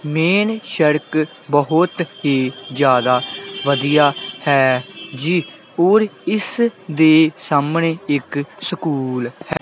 Main ਸੜਕ ਬਹੁਤ ਹੀ ਜਿਆਦਾ ਵਧੀਆ ਹੈ ਜੀ ਔਰ ਇਸਦੇ ਸਾਹਮਣੇ ਇੱਕ ਸਕੂਲ ਹੈ।